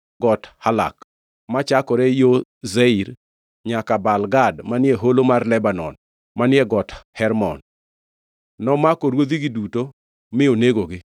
Got Halak, machakore yo Seir, nyaka Baal Gad manie Holo mar Lebanon manie Got Hermon. Nomako ruodhigi duto mi onegogi.